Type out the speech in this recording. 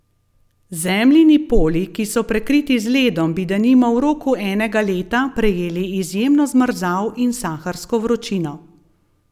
Zemljini poli, ki so prekriti z ledom, bi denimo v roku enega leta prejeli izjemno zmrzal in saharsko vročino.